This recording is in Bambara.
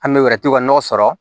An bɛ wɛrɛ tuw ka nɔgɔ sɔrɔ